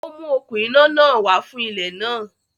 Ó mú okún iná náà wá fún ilẹ náà.